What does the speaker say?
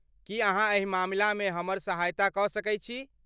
की अहाँ एहि मामलामे हमर सहायता कऽ सकैत छी?